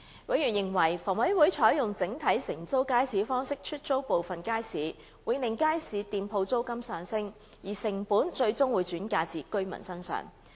委員認為房委會採用整體承租街市方式出租部分街市，會令街市店鋪租金上升，而成本最終會轉嫁至居民身上。